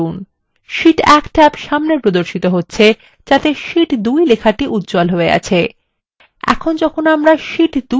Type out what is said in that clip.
Sheet1 tab সামনে প্রদর্শিত হচ্ছে যাতে শীট 2 লেখাটি উজ্জ্বল হয়ে আছে